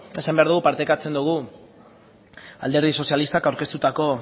esan behar dugu partekatzen dugu alderdi sozialistak aurkeztutako